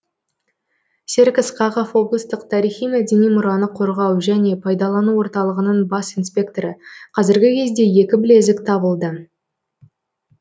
серік ысқақов облыстық тарихи мәдени мұраны қорғау дәне пайдалану орталығының бас инспекторы қазіргі кезде екі білезік табылды